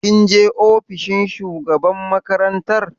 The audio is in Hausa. Kun je ofishin shugaban makarantar?